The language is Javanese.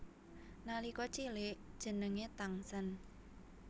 Nalika cilik jenengé Tangsen